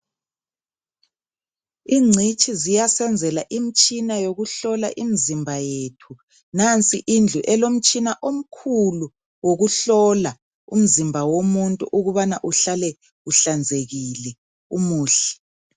Ingcitshi ziyasenzela imtshina yokuhlola imizimba yethu, nansi indlu elomtshina omkhulu wokuhlola umzimba womuntu ukubana uhlale uhlanzekile umuhle.